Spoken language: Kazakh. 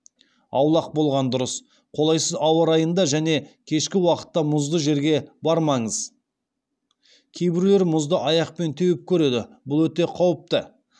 аулақ болған дұрыс қолайсыз ауа райында және кешкі уақытта мұзды жерге бармаңыз кейбіреулер мұзды аяқпен теуіп көреді бұл өте қауіпті